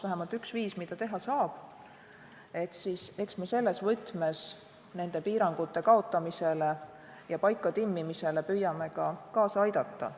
Eks me selles võtmes nende piirangute kaotamisele ja paikatimmimisele püüame ka kaasa aidata.